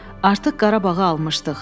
Artıq Qarabağı almışdıq.